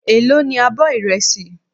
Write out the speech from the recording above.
Èló ní abọ́ ìrẹsì.